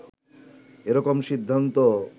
এ রকম সিদ্ধান্ত